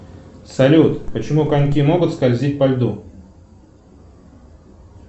салют почему коньки могут скользить по льду